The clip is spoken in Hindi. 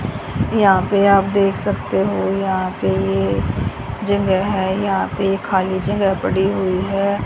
यहां पे आप देख सकते हो यहां पे ये जगह है यहां पे ये खाली जगह पड़ी हुई है।